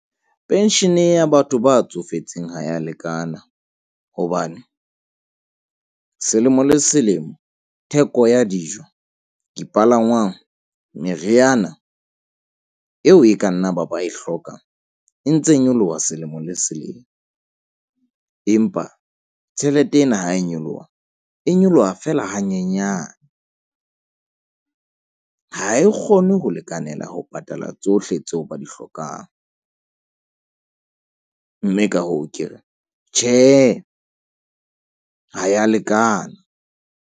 Pension ya batho ba tsofetseng ha ya lekana hobane selemo le selemo, theko ya dijo, dipalangwang, meriana eo e ka nna ba ba e hlokang e ntse nyoloha selemo le selemo. Empa tjhelete ena ha e nyoloha, e nyoloha feela hanyenyane. Ha e kgone ho lekanela ho patala tsohle tseo ba di hlokang. Mme ka hoo, ke re tjhe ha ya lekana.